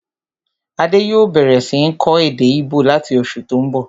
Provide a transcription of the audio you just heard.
Adé yòó bẹ̀rẹ̀ sí ń kọ́ èdè íbò láti oṣù tó n bọ̀